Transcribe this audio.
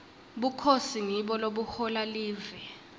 bukhosi ngibo lobuhola live